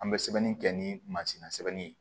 An bɛ sɛbɛnni kɛ ni mansin na sɛbɛli ye